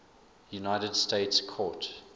united states court